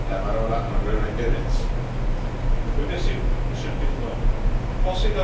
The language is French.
Monsieur le Président, penser l'avenir de l'Europe peut paraître moins utopique qu'on ne le pense.